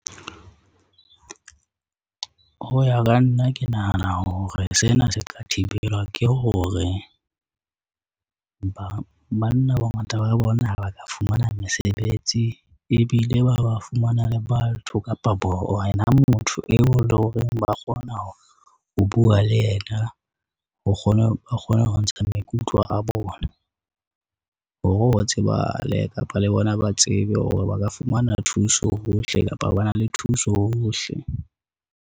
Ho ya ka nna ke nahana hore sena se ka thibelwa ke hore, banna bongata ba bona ha ba ka fumana mesebetsi ebile ba ba fumana le batho kapa bona motho eo le horeng ba kgona ho bua le yena, ba kgona ho ntsha maikutlo a bona. Hore ho tsebahale kapa le bona ba tsebe hore ba ka fumana thuso hohle, kapa ba na le thuso hohle.